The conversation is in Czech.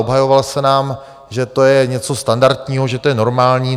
Obhajoval se nám, že to je něco standardního, že to je normální.